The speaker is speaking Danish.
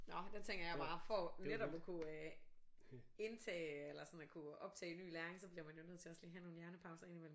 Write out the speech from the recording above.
Nå der tænker jeg bare for netop at kunne indtage eller sådan at kunne optage ny læring så bliver man jo lige nødt til også lige at have nogle hjernepauser ind i mellem